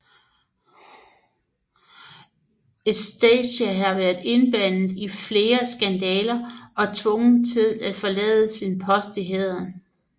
Eustache havde været indblandet i flere skandaler og tvunget til at forlade sin post i hæren